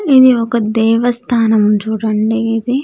ఇది ఒక దేవస్థానం చూడండి ఇది.